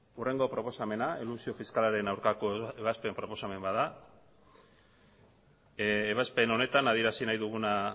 hurrengo proposamena elusio fiskalaren aurkako ebazpen proposamen bat da ebazpen honetan adierazi nahi duguna